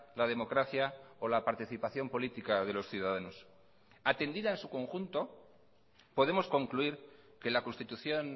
la democracia o la participación política de los ciudadanos atendida en su conjunto podemos concluir que la constitución